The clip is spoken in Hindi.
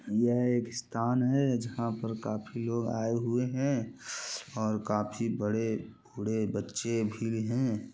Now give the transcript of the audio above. यह एक स्थान है जहाँ पर काफ़ी लोग आए हुए हैं और काफ़ी बड़े बूढ़े बच्चे भी हैं।